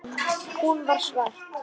Hún sér svart.